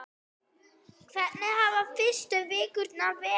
Hvernig hafa fyrstu vikurnar verið?